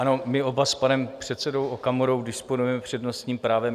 Ano, my oba s panem předsedou Okamurou disponujeme přednostním právem.